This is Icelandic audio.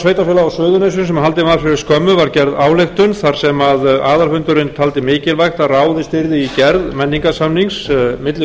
á suðurnesjum sem haldinn var fyrir skömmu var gerð ályktun þar sem aðalfundurinn taldi mikilvægt að ráðist yrði í gerð menningarsamnings milli